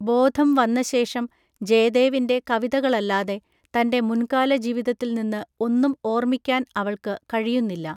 ബോധം വന്നശേഷം, ജയദേവിൻ്റെ കവിതകളല്ലാതെ തൻ്റെ മുൻകാല ജീവിതത്തിൽ നിന്ന് ഒന്നും ഓർമ്മിക്കാൻ അവൾക്ക് കഴിയുന്നില്ല.